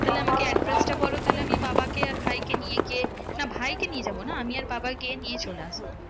তাহলে আমাকে address টা বলো তাহলে আমি বাবাকে আর ভাইকে নিয়ে গিয়ে, না ভাইকে নিয়ে যাবো না, আমি আর বাবা গিয়ে নিয়ে চলে আসবো।